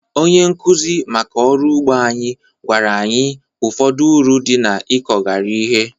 Onye nkụzi maka ọrụ ugbo anyị gwara anyị ụfọdụ uru dị n'ịkọgharị ihe